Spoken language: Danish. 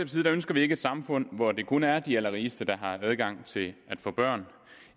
side ønsker vi ikke et samfund hvor det kun er de allerrigeste der har adgang til at få børn